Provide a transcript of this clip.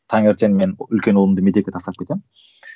таңертең мен үлкен ұлымды мектепке тастап кетемін